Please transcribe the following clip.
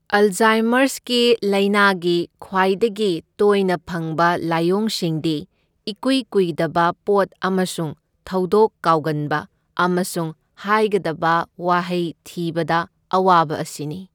ꯑꯜꯖꯥꯢꯃꯔꯁꯀꯤ ꯂꯥꯢꯅꯥꯒꯤ ꯈ꯭ꯋꯥꯏꯗꯒꯤ ꯇꯣꯢꯅ ꯐꯪꯕ ꯂꯥꯏꯑꯣꯡꯁꯤꯡꯗꯤ ꯏꯀꯨꯏꯀꯨꯢꯗꯕ ꯄꯣꯠ ꯑꯃꯁꯨꯡ ꯊꯧꯗꯣꯛ ꯀꯥꯎꯒꯟꯕ ꯑꯃꯁꯨꯡ ꯍꯥꯢꯒꯗꯕ ꯋꯥꯍꯩ ꯊꯤꯕꯗ ꯑꯋꯥꯕ ꯑꯁꯤꯅꯤ꯫